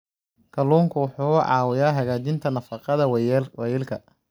Kalluunku wuxuu caawiyaa hagaajinta nafaqada waayeelka.